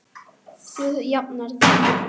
Þú jafnar þig.